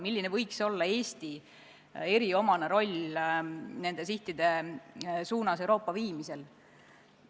Milline võiks olla Eesti eriomane roll Euroopa viimisel nende sihtide suunas?